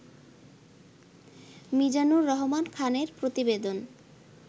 মিজানুর রহমান খানের প্রতিবেদন